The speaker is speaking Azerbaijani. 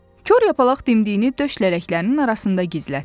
Kor yapalaq dimdiyini döş lələklərinin arasında gizlətdi.